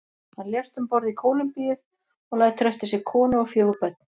Hann lést um borð í Kólumbíu og lætur eftir sig konu og fjögur börn.